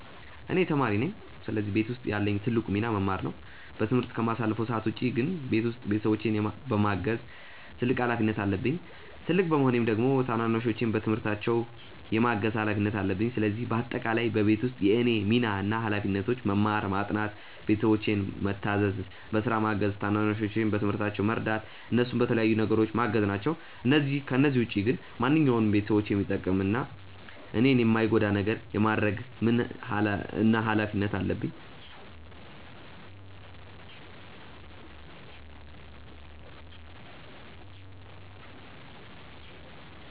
እኔ ተማሪ ነኝ ስለዚህ ቤት ውስጥ ያለኝ ትልቁ ሚና መማር ነው። በትምህርት ከማሳልፈው ሰዓት ውጪ ግን ቤት ውስጥ ቤተሰቦቼን የማገዝ ትልቅ ሀላፊነት አለብኝ። ትልቅ በመሆኔም ደግሞ ታናናሾቼን በትምህርታቸው የማገዝ ሀላፊነት አለብኝ። ስለዚህ በአጠቃላይ በቤት ውስጥ የእኔ ሚና እና ሀላፊነቶች መማር፣ ማጥናት፣ ቤተሰቦቼን ምታዘዝ፣ በስራ ማገዝ፣ ታናናሾቼን በትምህርታቸው መርዳት፣ እነሱን በተለያዩ ነገሮች ማገዝ ናቸው። ከነዚህ ውጪ ግን ማንኛውንም ቤተሰቦቼን የሚጠቅም እና እኔን የማይጎዳ ነገር የማድረግ ምን እና ሀላፊነት አለብኝ።